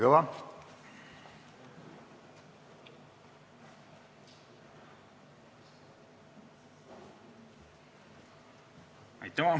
Kalvi Kõva.